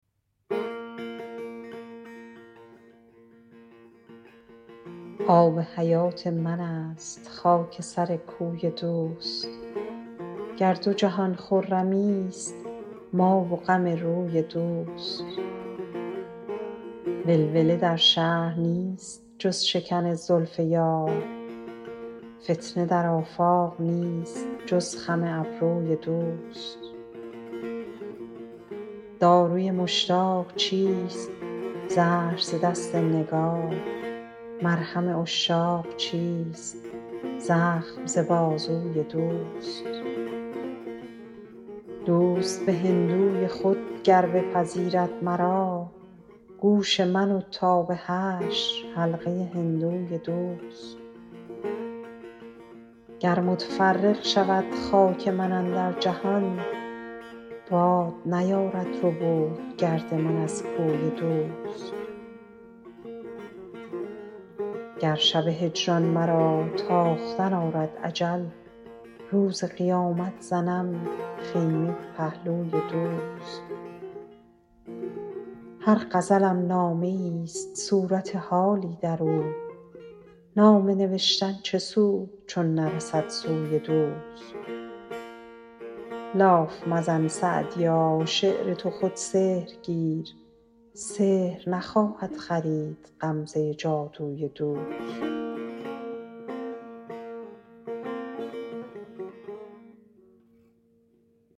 آب حیات من است خاک سر کوی دوست گر دو جهان خرمیست ما و غم روی دوست ولوله در شهر نیست جز شکن زلف یار فتنه در آفاق نیست جز خم ابروی دوست داروی مشتاق چیست زهر ز دست نگار مرهم عشاق چیست زخم ز بازوی دوست دوست به هندوی خود گر بپذیرد مرا گوش من و تا به حشر حلقه هندوی دوست گر متفرق شود خاک من اندر جهان باد نیارد ربود گرد من از کوی دوست گر شب هجران مرا تاختن آرد اجل روز قیامت زنم خیمه به پهلوی دوست هر غزلم نامه ایست صورت حالی در او نامه نوشتن چه سود چون نرسد سوی دوست لاف مزن سعدیا شعر تو خود سحر گیر سحر نخواهد خرید غمزه جادوی دوست